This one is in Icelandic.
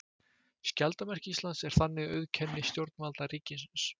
Skjaldarmerki Íslands er þannig auðkenni stjórnvalda ríkisins.